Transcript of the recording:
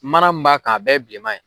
Mana min b'a kan a bɛɛ ye bilenma ye.